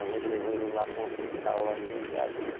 A gente levou ele lá para um hospital lá em Jundiaí, né?